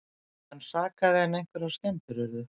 Engan sakaði en einhverjar skemmdir urðu